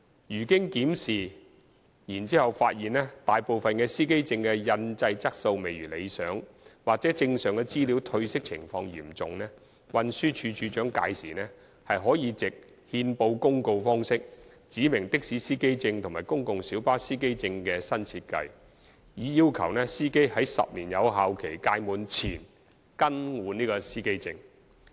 如經檢視後發現大部分司機證的印製質素未如理想或證上資料褪色情況嚴重，運輸署署長屆時可藉憲報公告方式指明的士司機證和公共小巴司機證的新設計，以要求司機於10年有效期屆滿前更換司機證。